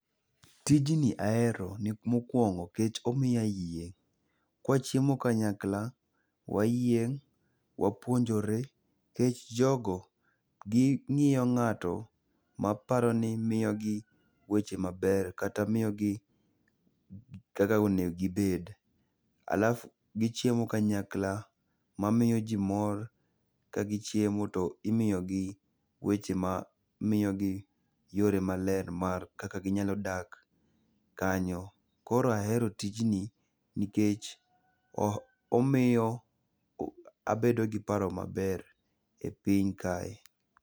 Tijni ahero ni mokuongo nikech omiyo ayieng'. Kwachiemo kanyakla wayieng', wapuonjore, nikech jogo ging'iyo ng'ato ma aparo ni miyo gi weche maber, kata miyo gi kaka onego gibed. Alafu gichiemo kanyakla, ma miyo ji mor ka gi chiemo to imiyo gi weche ma miyo gi yore maler mar kaka ginyalo dak kanyo. Koro ahero tijni nikech o omiyo abedo gi paro maber e piny kae.